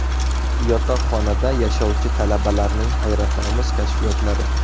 Yotoqxonada yashovchi talabalarning hayratomuz kashfiyotlari .